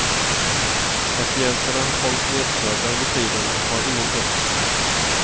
Patienterna hålls nedsövda under tiden och har ingen puls.